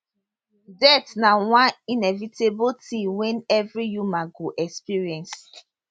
death na one inevitable tin wey evri human go experience